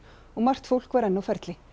og margt fólk var enn á ferli